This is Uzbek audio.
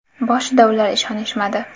Boshida ular ishonishmadi.